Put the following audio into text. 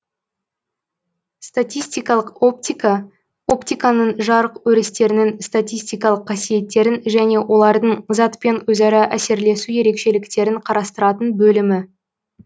статистикалық оптика оптиканың жарық өрістерінің статистикалык қасиеттерін және олардың затпен өзара әсерлесу ерекшеліктерін карастыратын бөлімі